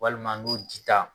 Walima n'o dita.